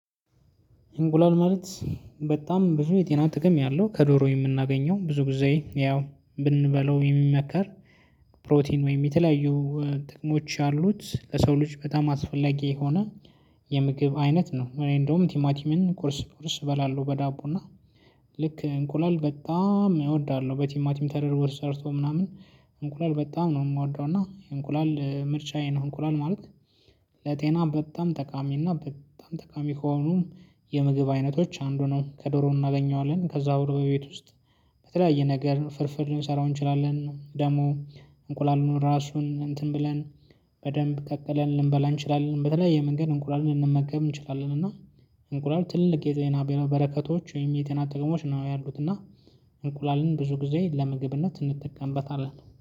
እንቁላል ማለት በጣም ብዙ የጤና ጥቅም ያለው ከዶሮ የምናገኘው ብዙ ጊዜ ያው ብንበላው የሚመከር ፕሮቲን ወይም የተለያዩ ጥቅሞች ያሉት ለሰው ልጅ በጣም አስፈላጊ የሆነ የምግብ አይነት ነው። እኔ እንደውም ቲማቲምን ቁርስ ቁርስ እበላለሁ በዳቦ እና ልክ እንቁላል በጣም እወዳለሁ በቲማቲም ተደርጎ ሰርቶ ምናምን እንቁላል በጣም ነው የምወደው እና እንቁላል ምርጫዬ ነው። እንቁላል ማለት ለጤና በጣም ጠቃሚ እና በጣም ጠቃሚ ከሆኑ የምግብ አይነቶች አንዱ ነው። ከዶሮ እናገኘዋለን ከዛ ወር በቤት ውስጥ። በተለያየ ነገር ፍርፍር ልንሰራው እንችላለን ደግሞ እንቁላሉን ራሱን እንትን ብለን በደንብ ቀቅለን ልንበላ እንችላለን። በተለያየ መንገድ እንቁላልን ልንመገብ እንችላለን እና እንቁላል ትልቅ የጤና በረከቶች ወይም የጤና ጥቅሞች ነው ያሉት። እና እንቁላልን ብዙ ጊዜ ለምግብነት እንጠቀምበታለን